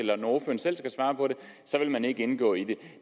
vil man ikke gå ind i